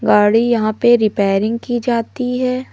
गाड़ी यहां पे रिपेयरिंग की जाती हैं।